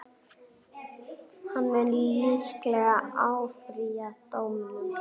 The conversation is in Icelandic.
Hann mun líklega áfrýja dómnum.